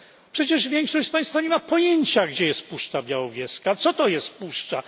Przecież większość z Państwa nie ma pojęcia, gdzie jest Puszcza Białowieska, co to jest Puszcza.